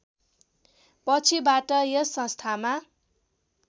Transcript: पछिबाट यस संस्थामा